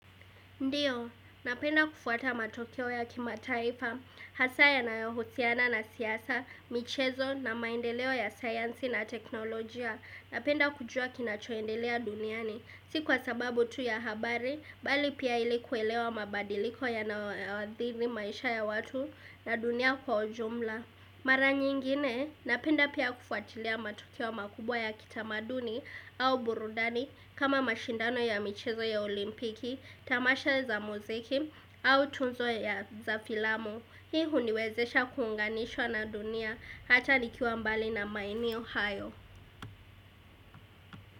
Ndio, napenda kufuata matokeo ya kimataifa, hasa yanayohusiana na siasa, michezo na maendeleo ya sayansi na teknolojia. Napenda kujua kinachoendelea duniani, si kwa sababu tu ya habari, bali pia ili kuelewa mabadiliko yanaoathiri maisha ya watu na dunia kwa ujumla. Mara nyingine, napenda pia kufuatilia matukio makubwa ya kitamaduni au burudani kama mashindano ya michezo ya olimpiki, tamasha za muziki au tuzo ya za filamu. Hii huniwezesha kuunganishwa na dunia hata nikiwa mbali na maeneo hayo.